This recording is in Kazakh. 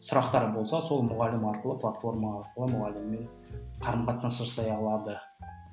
сұрақтары болса сол мұғалім арқылы платформа арқылы мұғаліммен қарым қатынас жасай алады